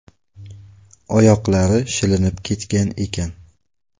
Oyoqlari shilinib ketgan ekan.